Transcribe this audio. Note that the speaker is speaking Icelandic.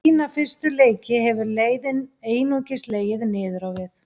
Eftir fína fyrstu leiki hefur leiðin einungis legið niður á við.